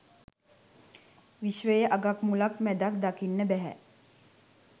විශ්වයේ අගක් මුලක් මැදක් දකින්න බැහැ.